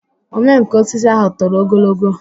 omenkà osisi ahụ toro ogologo